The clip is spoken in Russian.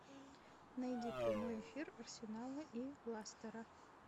найди прямой эфир арсенала и лестера